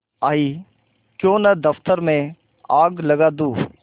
आयीक्यों न दफ्तर में आग लगा दूँ